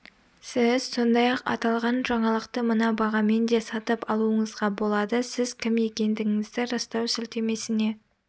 сіз сондай-ақ аталған жаңалықты мына бағамен де сатып алуыңызға болады сіз кім екендігіңізді растау сілтемесіне